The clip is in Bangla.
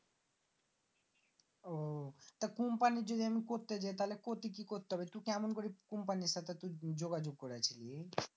আহ তা Company এর যদি আমি যদি করতে যাই তাইলে কতে কি করতে হবে? একটু কেমন করে তুই Company এর সাথে যোগাযোগ করেছিলি?